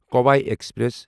Kovai express